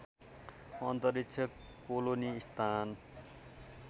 अन्तरिक्ष कोलोनी स्थान